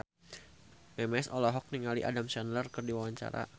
Memes olohok ningali Adam Sandler keur diwawancara